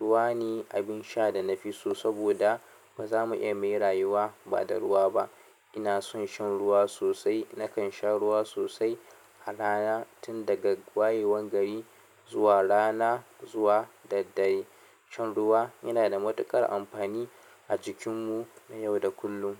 Ruwa ne abin sha da na fi so saboda ba za mu iya muyi rayuwa ba da ruwa ba. Ina son shan ruwa sosai. Nakan sha ruwa sosai a rana, tun daga wayewan gari zuwa rana zuwa daddare. Shan ruwa yana da matuƙar amfani a jikinmu na yau da kullum.